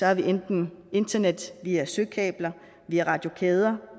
har vi enten internet via søkabler via radiokæder